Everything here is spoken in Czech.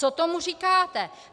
Co tomu říkáte?